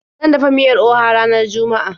Zan dafa miyar Oha ranar juma'a.